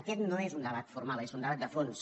aquest no és un debat formal és un debat de fons